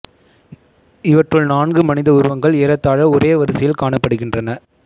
இவற்றுள் நான்கு மனித உருவங்கள் ஏறத்தாழ ஒரே வரிசையில் காணப்படுகின்றன